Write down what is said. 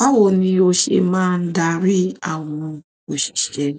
Báwo ni o ṣe máa ń darí àwọn òṣìṣẹ́?